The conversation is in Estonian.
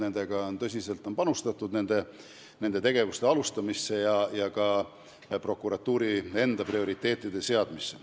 Nendega tegelemisse on tõsiselt panustatud.